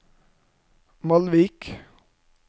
Malvik